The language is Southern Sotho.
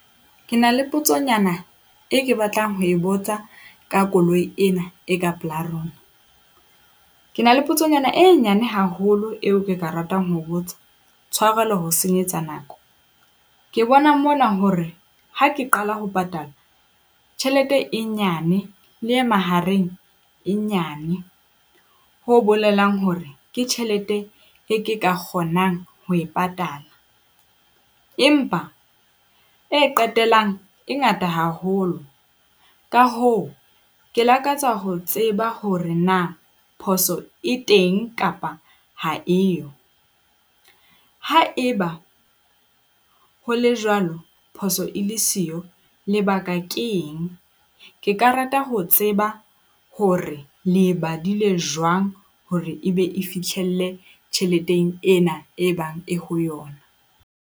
Ke na le potsonyana e ke batlang ho e botsa ka koloi ena e ka pela rona. Ke na le potsonyana e nyane haholo eo ke ka ratang ho botsa, tshwarelo ho senyetsa nako. Ke bona mona hore ha ke qala ho patala tjhelete e nyane le e mahareng e nyane, ho bolelang hore ke tjhelete e ke ka kgonang ho e patala empa e qetellang e ngata haholo. Ka hoo, ke lakatsa ho tseba hore na phoso e teng kapa ha e yo. Haeba ho le jwalo, phoso e le siyo, lebaka keng? Ke ka rata ho tseba hore le badile jwang hore e be e fihlelle tjheleteng ena e bang e ho yona.